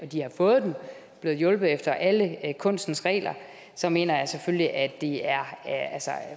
de har fået den er blevet hjulpet efter alle kunstens regler så mener jeg selvfølgelig at det er